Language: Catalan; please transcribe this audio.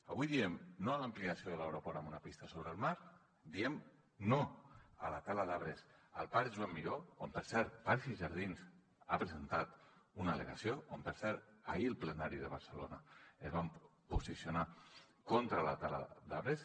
avui diem no a l’ampliació de l’aeroport amb una pista sobre el mar diem no a la tala d’arbres al parc joan miró on per cert parcs i jardins ha presentat una al·legació on per cert ahir al plenari de barcelona es van posicionar contra la tala d’arbres